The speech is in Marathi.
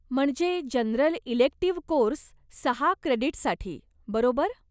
म्हणजे जनरल इलेक्टिव्ह कोर्स सहा क्रेडीट्ससाठी, बरोबर?